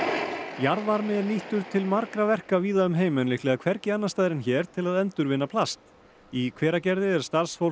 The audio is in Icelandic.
jarðvarmi er nýttur til margra verka víða um heim en líklega hvergi annars staðar en hér til að endurvinna plast í Hveragerði er starfsfólk